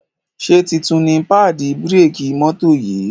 Ṣe títún ní paadi bírékì mọ́tò yì?